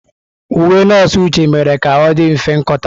Uwe nọọsụ Uche mere ka ọ dị mfe nkọta.